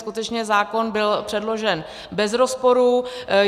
Skutečně zákon byl předložen bez rozporu.